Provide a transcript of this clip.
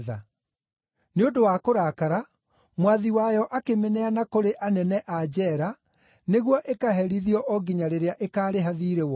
Nĩ ũndũ wa kũrakara, mwathi wayo akĩmĩneana kũrĩ anene a njeera nĩguo ĩkaherithio o nginya rĩrĩa ĩkaarĩha thiirĩ wothe.